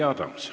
Jüri Adams.